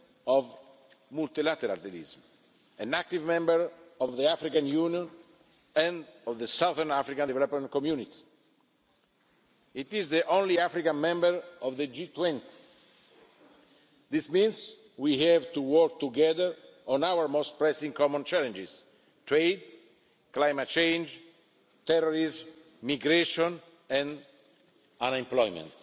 a champion of multilateralism, an active member of the African Union and of the Southern African Development Community. It is the only African member of the G20. This means we have to work together on our most pressing common challenges trade, climate change, terrorism, migration and